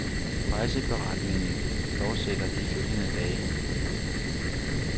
Rejseberetningen fortsætter de følgende dage.